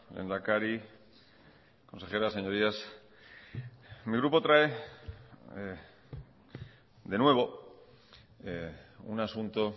lehendakari consejera señorías mi grupo trae de nuevo un asunto